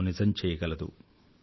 కలను నిజం చెయ్యగలదు